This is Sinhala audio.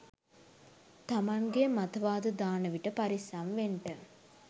තමන්ගේ මතවාද දානවිට පරිස්සම් වෙන්ට.